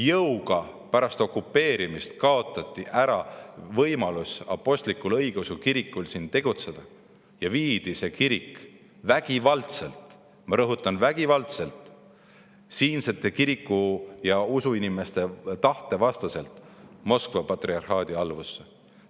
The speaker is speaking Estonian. Jõuga pärast okupeerimist kaotati ära võimalus apostlikul õigeusu kirikul siin tegutseda ja viidi see kirik vägivaldselt – ma rõhutan: vägivaldselt –, siinsete kiriku- ja usuinimeste tahte vastaselt Moskva patriarhaadi alluvusse.